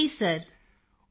Kritika ji sir